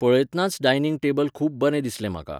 पळयत्नाच dining table खूब बरें दिसलें म्हाका.